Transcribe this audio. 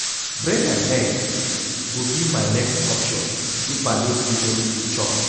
Bread and egg go be my next option if I no see anything chop.